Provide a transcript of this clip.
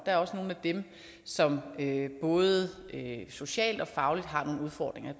er også nogle af dem som både socialt og fagligt har nogle udfordringer